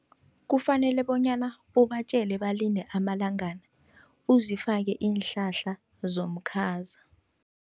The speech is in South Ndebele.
Kufanele bonyana ubatjele balinde amalangana, uzifake iinhlahla zomkhaza.